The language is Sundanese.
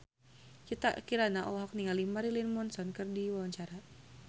Citra Kirana olohok ningali Marilyn Manson keur diwawancara